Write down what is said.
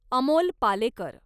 Amol Palekar